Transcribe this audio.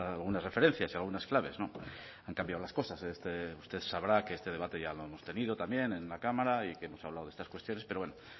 algunas referencias y algunas claves han cambiado las cosas usted sabrá que este debate ya lo han tenido también en la cámara y que se han hablado de estas cuestiones pero bueno